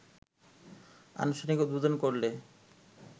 আনুষ্ঠানিক উদ্বোধন করলে